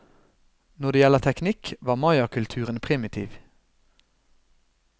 Når det gjelder teknikk, var mayakulturen primitiv.